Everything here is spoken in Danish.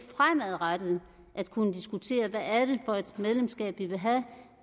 fremadrettet at kunne diskutere hvad det for et medlemskab vi vil have og